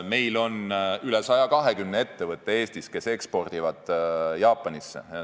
Eestis on üle 120 ettevõtte, mis ekspordivad Jaapanisse.